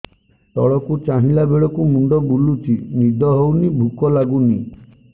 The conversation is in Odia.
ତଳକୁ ଚାହିଁଲା ବେଳକୁ ମୁଣ୍ଡ ବୁଲୁଚି ନିଦ ହଉନି ଭୁକ ଲାଗୁନି